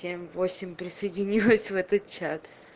семь восемь присоединилась в этот чат